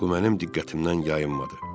Bu mənim diqqətimdən yayınmadı.